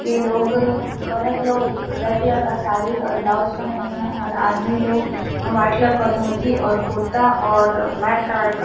ये लोग औरत लोग रेड कलर का साड़ी और ब्लाउज पेहने है और आदमी लोग व्हाइट कलर का धोती और कुर्ता और ब्लैक कलर का --